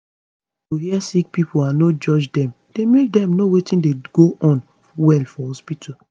to hear sick pipo and no judge dem dey make dem know wetin dey go on well for hospitu